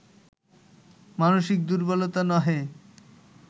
মানসিক দুর্ব্বলতা নহে